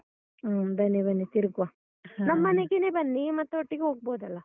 ಹ್ಮ, ಬನ್ನಿ ಬನ್ನಿ, ತಿರುಗುವ. ನಮ್ಮನೆಗೆನೇ ಬನ್ನಿ. ಮತ್ತೆ ಒಟ್ಟಿಗೆ ಹೋಗ್ಬೋದಲ್ಲ?